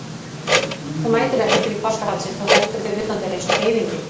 Þú mætir ekki til páskahaldsins, þú heldur þig utan dyra eins og heiðingi.